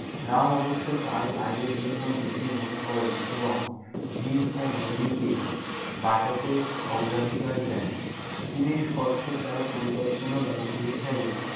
রাম অবশ্য তার কাজের জন্য দোষিবোধ করেন এবং ভীম ও মল্লিকে বাঁচাতে অগ্রাধিকার দেন। তিনি স্কটকে তার পরিকল্পনার অংশ হিসেবে-